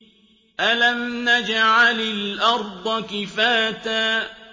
أَلَمْ نَجْعَلِ الْأَرْضَ كِفَاتًا